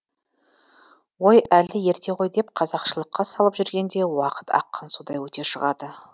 ой әлі ерте ғой деп қазақшылыққа салып жүргенде уақыт аққан судай өте шығады